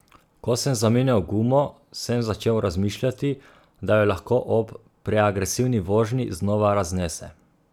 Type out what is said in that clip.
Ko sem zamenjal gumo, sem začel razmišljati, da jo lahko ob preagresivni vožnji znova raznese.